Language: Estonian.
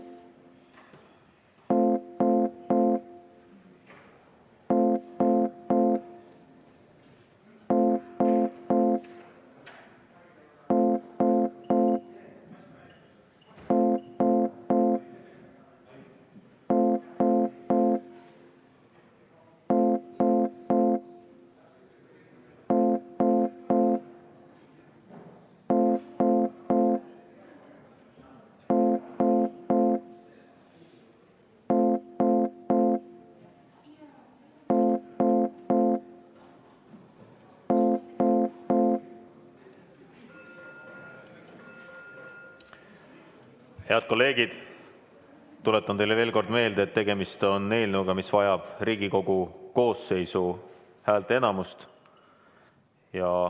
Head kolleegid, tuletan teile veel kord meelde, et tegemist on eelnõuga, mis vajab Riigikogu koosseisu häälteenamust.